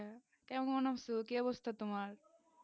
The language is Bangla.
কেমন আছো কি অবস্থা তোমার?